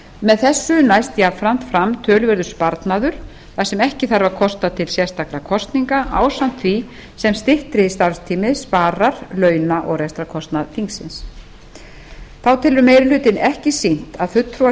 með þessu næst jafnframt fram töluverður sparnaður þar sem ekki þarf að kosta til sérstakra kosninga ásamt því sem styttri starfstími sparar launa og rekstrarkostnaðar þingsins þá telur meiri hlutinn ekki sýnt að fulltrúar